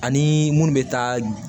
Ani munnu bɛ taa